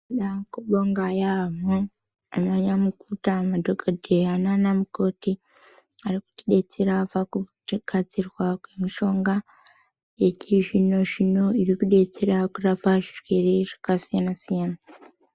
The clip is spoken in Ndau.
Toda kubonga yaamho ana nyamukuta, madhogodheya nana mukoti varikutidetsera pakugadzirwa kwemishonga yechizvino zvino iri kudetsera kurapa zvirwere zvakasiyana siyana.